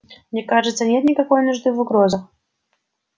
мне кажется нет никакой нужды в угрозах